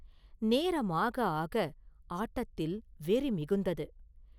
நேரம் ஆக, ஆட்டத்தில் வெறி மிகுந்தது.